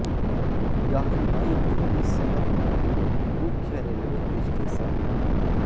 यह नई दिल्ली शहर का मुख्य रेलवे स्टेशन है